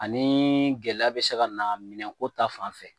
Ani gɛlɛya bɛ se ka na minɛnko ta fan fɛ